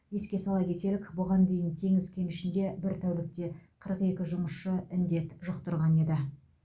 еске сала кетелік бұған дейін теңіз кенішінде бір тәулікте қырық екі жұмысшы індет жұқтырған еді